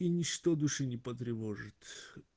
и ничто души не потревожит